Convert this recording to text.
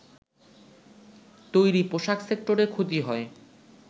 তৈরি পোশাক সেক্টরে ক্ষতি হয়